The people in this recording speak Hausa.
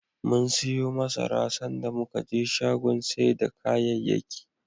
Mum siyo masara, sanda muka je shagon sai da kayayyaki.